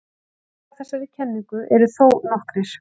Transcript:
Gallar á þessari kenningu eru þó nokkrir.